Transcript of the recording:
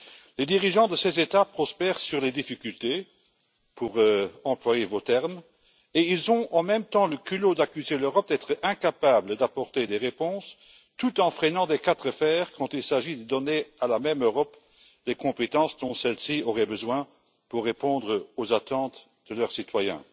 Les dirigeants de ces États prospèrent sur les difficultés pour employer vos termes et ils ont, en même temps, le culot d'accuser l'Europe d'être incapable d'apporter des réponses tout en freinant des quatre fers quand il s'agit de donner à la même Europe des compétences dont celle ci aurait besoin pour répondre aux attentes de leurs citoyens.